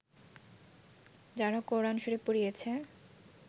যারা কোরআন শরিফ পুড়িয়েছে